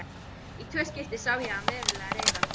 Í tvö skipti sá ég hann verulega reiðan.